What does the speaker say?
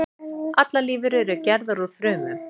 Allar lífverur eru gerðar úr frumum.